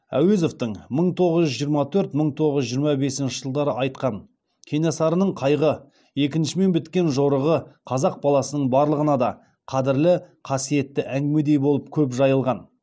әуезовтің мың тоғыз жүз жиырма төрт мың тоғыз жүз жиырма бесінші жылдары айтқан кенесарының қайғы екінішімен біткен жорығы қазақ баласының барлығына да қадірлі қасиетті әңгімедей болып көп жайылған